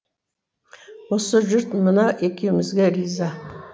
осы жұрт мына екеумізге риза